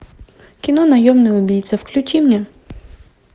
кино наемный убийца включи мне